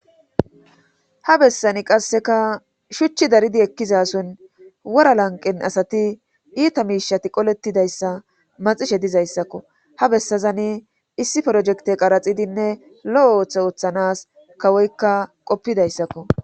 Ha bessani qasseka shuchchi daridi ekkizason wora lanqen asati iita miishati qolettidayssa maxishe dizayssakko ha bessazani issi projekte qaraxidinne lo7o ooththe ooththanas kawoykka qoppidayssakko.